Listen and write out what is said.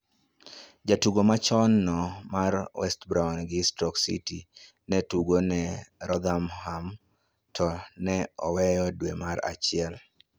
Jatugo machon no mar Westbrom gi Stoke City ne tugo ne Rotherham to ne oweyo dwe mar achiel